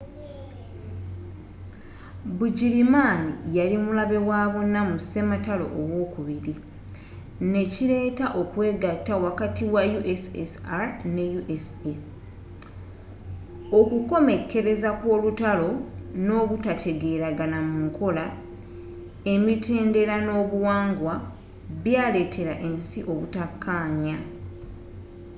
bugirimaani yali mulabe wabonna mu sematalo owokubiri nekiileeta okwegatta wakati wa ussr ne usa okukomekkereza kw'olutalo n'obutategeragana mu nkola emittendera n'obuwangwa byaletera ensi obutakanya